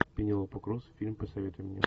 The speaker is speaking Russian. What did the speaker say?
пенелопа крус фильм посоветуй мне